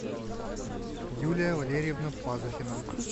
юлия валерьевна пазухина